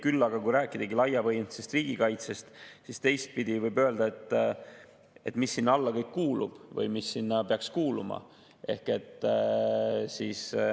Küll aga, kui rääkidagi laiapõhjalisest riigikaitsest, siis teistpidi võib öelda seda, mis sinna alla kõik kuulub või mis sinna peaks kuuluma.